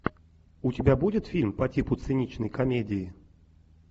у тебя будет фильм по типу циничной комедии